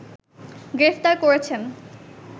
গ্রেফতার করেছেন